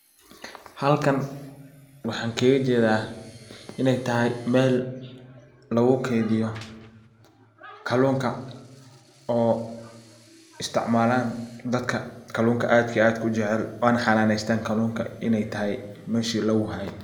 Halkan waxan kaga jedaa iney tahay mel lagu keydiyo kallunka oo isticmalan dadka kallunka aad iyo aadka u jecel waana xananestan kallunka iney tahay meshi lagu haye.